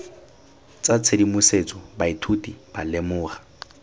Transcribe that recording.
tsa tshedimosetso baithuti ba lemoga